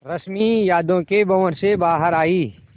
रश्मि यादों के भंवर से बाहर आई